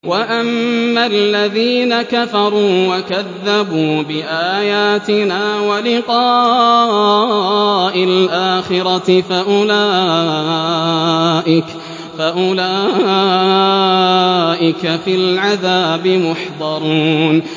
وَأَمَّا الَّذِينَ كَفَرُوا وَكَذَّبُوا بِآيَاتِنَا وَلِقَاءِ الْآخِرَةِ فَأُولَٰئِكَ فِي الْعَذَابِ مُحْضَرُونَ